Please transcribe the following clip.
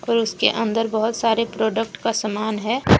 और उसके अंदर बहुत सारे प्रोडक्ट का समान है।